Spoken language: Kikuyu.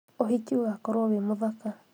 ũhiki ũgakorwo wĩ mũthaka